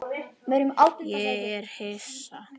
Ég er hissa.